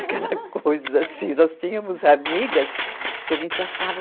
Aquela coisa assim... Nós tínhamos amigas que a gente achava...